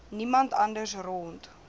niemand anders rond